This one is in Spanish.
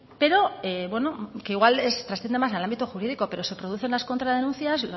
pero bueno que igual transciende más al ámbito jurídico pero se producen las contradenuncias